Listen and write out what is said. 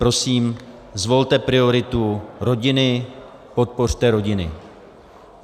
Prosím, zvolte prioritu rodiny, podpořte rodiny.